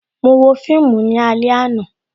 Mo wo fíìmù ní alẹ àná